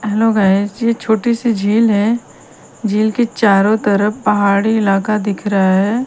Hello guys ये छोटी सी झील है झील के चारों तरफ पहाड़ी इलाका दिख रहा है।